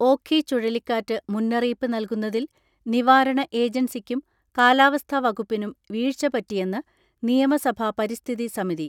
ഓഖി ചുഴലിക്കാറ്റ് മുന്നറിയിപ്പ് നൽകുന്നതിൽ നിവാരണ ഏജൻസിക്കും കാലാവസ്ഥാ വകുപ്പിനും വീഴ്ച പറ്റിയെന്ന് നിയമസഭാ പരിസ്ഥിതി സമിതി.